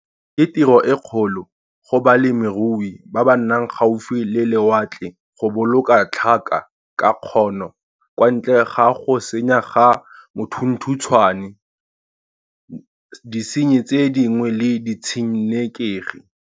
Ke tiro e kgolo go balemirui ba ba nnang gaufi le lewatle go boloka tlhaka ka kgono kwa ntle ga go senya ga mothuthuntshwane, disenyi tse dingwe le ditshenekegi.